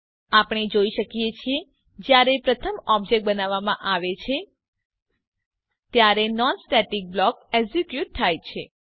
આપણે જોઈ શકીએ છીએ જયારે પ્રથમ ઓબ્જેક્ટ બનાવવામાં આવે છે ત્યારે નોન સ્ટેટિક બ્લોક એક્ઝીક્યુટ થાય છે